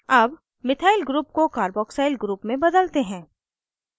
अब methyl group को carboxyl group में बदलते हैं